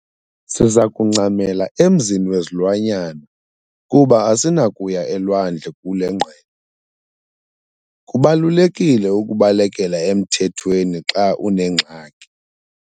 Siza kuncamela emzini wezilwanyana kuba asinakuya elwandle kule ngqele. kubalulekile ukubalekela emthethweni xa unengxaki